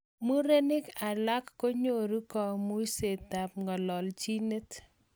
murenik alak konyoru kaumishet ap ngalalnjinet